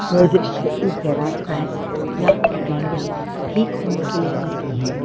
यह दृश्य एक गराज का है जहां पर गाड़ियां ठीक होने के लिए आती हैं।